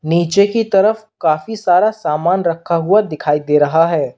नीचे की तरफ काफी सारा सामान रखा हुआ दिखाई दे रहा है।